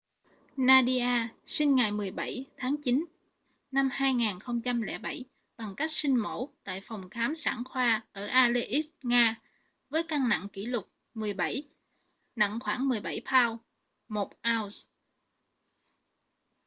nadia sinh ngày 17 tháng 9 năm 2007 bằng cách sinh mổ tại phòng khám sản khoa ở aleisk nga với cân nặng kỷ lục 17 nặng khoảng 17 pound 1 ounce